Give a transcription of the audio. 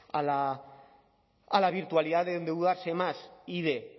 a la virtualidad de endeudarse más y de